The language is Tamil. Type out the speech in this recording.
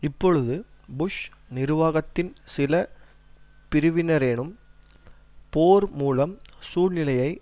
இப்பொழுது புஷ் நிர்வாகத்தின் சில பிரிவினரேனும் போர் மூளும் சூழ்நிலையை